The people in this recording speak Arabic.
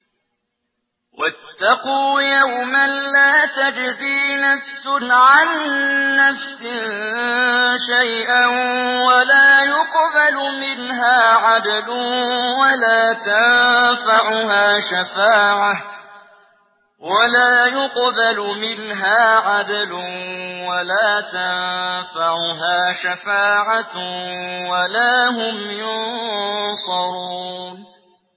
وَاتَّقُوا يَوْمًا لَّا تَجْزِي نَفْسٌ عَن نَّفْسٍ شَيْئًا وَلَا يُقْبَلُ مِنْهَا عَدْلٌ وَلَا تَنفَعُهَا شَفَاعَةٌ وَلَا هُمْ يُنصَرُونَ